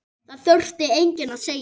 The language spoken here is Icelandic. Það þurfti enginn að segja